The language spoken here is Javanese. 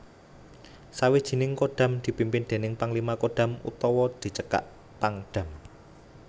Sawijining Kodam dipimpin déning Panglima Kodam utawa dicekak Pangdam